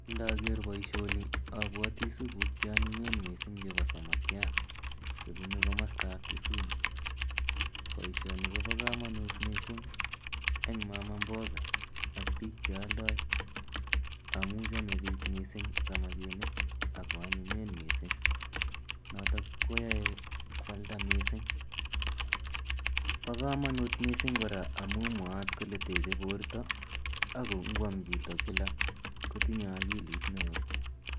Ndager poishoni apwati supuuk che anyinyen missing' che samakiat che punu komastap Kisumu. Poishoni ko pa kamanut missing' eng' mama mboga ak piik che aldai amu chame piik missing' samakinik ako anyinyen missing' notok koyae koalda missing'. Pa kamanut missing' kora amu mwaat kole teche porto ako ngoam chito kila kotinye akilit ne oo.